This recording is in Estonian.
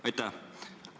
Aitäh!